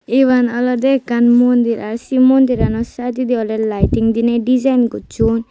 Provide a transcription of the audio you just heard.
iban olodey ekkan mondir i sey mundirano saididi awle laiting dinei dijaeen gosson.